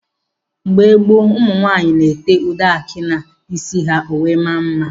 Mgbe gboo, ụmụ nwaanyị na-ete ude aki n'isi ha ọ wee mmaa mma.